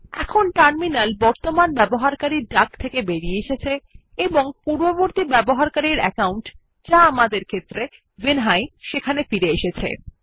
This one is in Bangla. এখন টার্মিনাল বর্তমান ইউজার ডাক থেকে বেরিয়ে এসেছে এবং পূর্ববর্তী ইউজার অ্যাকাউন্ট যা আমাদের ক্ষেত্রে ভিনহাই সেখানে ফিরে এসেছে